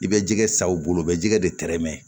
I bɛ jɛgɛ sa u bolo u bɛ jɛgɛ de tɛrɛmɛ